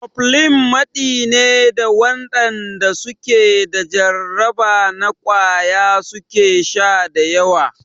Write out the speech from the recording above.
Cofflin maɗi ne da waɗanda su ke da jarraba na ƙwaya su ke sha da yawa.